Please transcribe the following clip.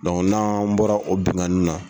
na bɔra o binganin na.